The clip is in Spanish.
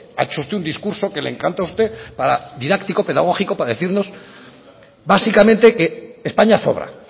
ha hecho usted un discurso que le encanta a usted didáctico pedagógico para decirnos básicamente que españa sobra